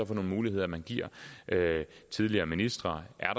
for nogle muligheder man giver tidligere ministre